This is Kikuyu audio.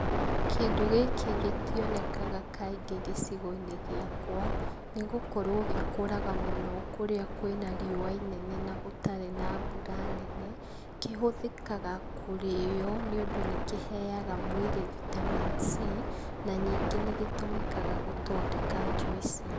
Kĩndũ gĩkĩ gĩtionekaga kaingĩ gĩcigo-inĩ giakwa, nĩgũkorwo gĩkũraga mũno kũrĩa kwĩ na riũa inene na gũtarĩ na mbura nyingĩ. Kĩhũthĩkaga kũrĩyo, nĩũndũ nĩ kĩheyaga mũndũ vitamin C. Na ningĩ nĩgĩtũmĩkaga gũthondeka njuici.